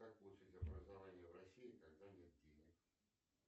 как получить образование в россии когда нет денег